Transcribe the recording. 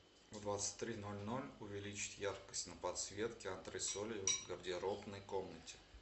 в двадцать три ноль ноль увеличить яркость на подсветке антресолей в гардеробной комнате